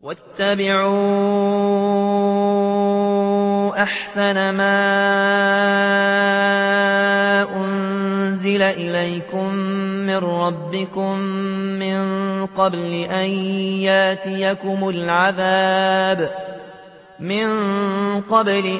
وَاتَّبِعُوا أَحْسَنَ مَا أُنزِلَ إِلَيْكُم مِّن رَّبِّكُم مِّن قَبْلِ